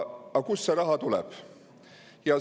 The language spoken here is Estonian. Aga kust see raha tuleb?